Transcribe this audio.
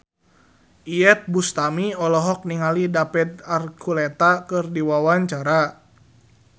Iyeth Bustami olohok ningali David Archuletta keur diwawancara